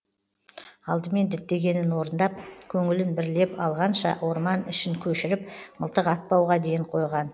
алдымен діттегенін орындап көңілін бірлеп алғанша орман ішін көшіріп мылтық атпауға ден қойған